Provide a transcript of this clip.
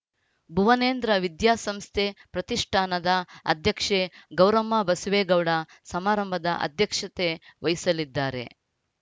ಭುವನೇಂದ್ರ ವಿದ್ಯಾಸಂಸ್ಥೆ ಪ್ರತಿಷ್ಠಾನದ ಅಧ್ಯಕ್ಷೆ ಗೌರಮ್ಮ ಬಸವೇಗೌಡ ಸಮಾರಂಭದ ಅಧ್ಯಕ್ಷತೆ ವಹಿಸಲಿದ್ದಾರೆ